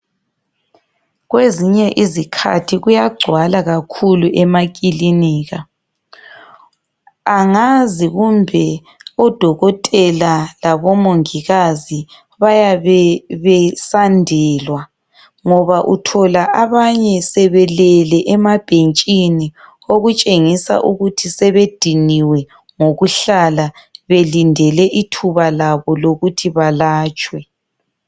Kwezinye izikhathi kuyagcwala kakhulu emakilinika, angazi kumbe odokotela labomongikazi bayabe besandelwa. Ngoba uthola abanye sebelele emabhentsheni okutshengisa ukuthi sebedinyiwe ngokuhlala belindele ithuba labo lokuthi balatshwe.